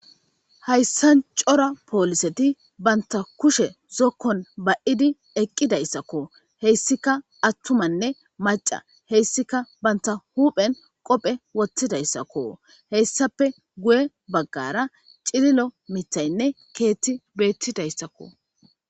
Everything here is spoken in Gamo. hayssan cora pooliseti banta kushe zokkon ba7idi eqqidayssakko heyssika attumanne maca heyssika banta huphen qophe wottidayssakko heyssape guye baggara cililo mitaynne keetti beettidayssakko